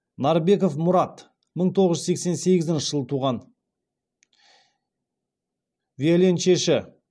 нарбеков мұрат мың тоғыз жүз сексен сегізінші жылы туған виоленчельші